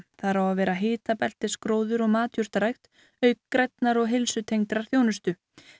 þar á að vera hitabeltisgróður og matjurtarækt auk grænnar og heilsutengdrar þjónustu